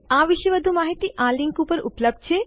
આ વિશે વધુ માહિતી આ લીંક ઉપર ઉપલબ્ધ છે